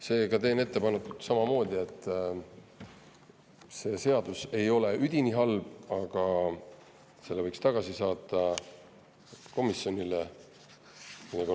Seega teen samamoodi ettepaneku, et see seadus ei ole üdini halb, aga selle võiks tagasi komisjoni saata.